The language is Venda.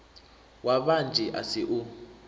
wa vhanzhi a si u